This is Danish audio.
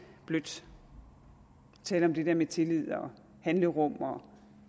blødt at tale om det der med tillid og handlerum og